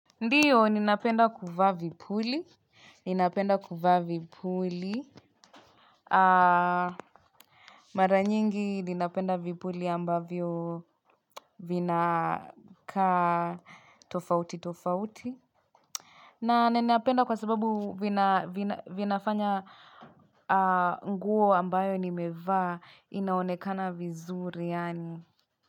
Ndiyo, ninapenda kuvaa vipuli. Ninapenda kuvaa vipuli. Mara nyingi ninapenda vipuli ambavyo vinakaa tofauti tofauti. Na ninapenda kwa sababu vinafanya nguo ambayo nimevaa inaonekana vizuri, yaani.